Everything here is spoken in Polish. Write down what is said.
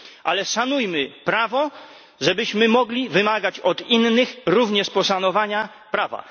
Ale szanujmy prawo, żebyśmy mogli również od innych wymagać poszanowania prawa.